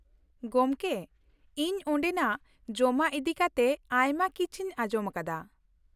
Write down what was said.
ᱜᱚᱢᱠᱮ, ᱤᱧ ᱚᱸᱰᱮᱱᱟᱜ ᱡᱚᱢᱟᱜ ᱤᱫᱤ ᱠᱟᱛᱮ ᱟᱭᱢᱟ ᱠᱤᱪᱷᱤᱧ ᱟᱸᱡᱚᱢ ᱟᱠᱟᱫᱟ ᱾